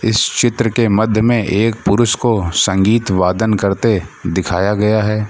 इस चित्र के मध्य में एक पुरुष को संगीत वादन करते दिखाया गया है।